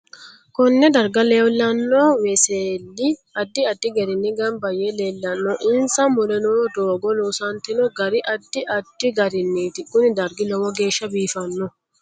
Konne darga lewlanno weselli addi addi gariini ganba yee leelanno insa mule noo dooga loosantino gari addi addi gariniiti kuni dargi lowo geesha biifanno